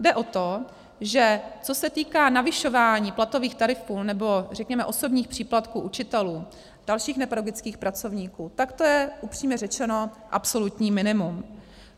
Jde o to, že co se týká navyšování platových tarifů, nebo řekněme osobních příplatků učitelů, dalších nepedagogických pracovníků, tak to je upřímně řečeno absolutní minimum.